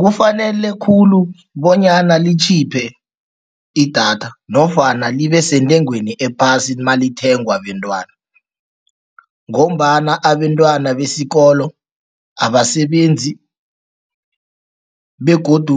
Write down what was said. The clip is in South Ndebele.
Kufanele khulu bonyana litjhiphe idatha nofana libesentengweni malithengwa bentwana ngombana abentwana besikolo abasebenzi begodu